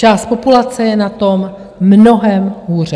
Část populace je na tom mnohem hůře.